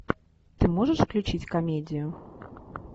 ты можешь включить комедию